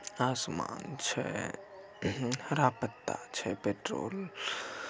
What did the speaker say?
आसमान छै हर पत्ता छै पेट्रोल--